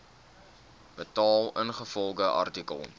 betaal ingevolge artikel